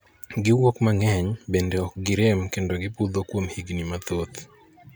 Gi wuok mang'eny, bende ok gi rem kendo butho kuom higni mathoth.